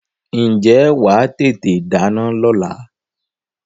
Ǹjẹ́ wà á tètè dáná lọ́la?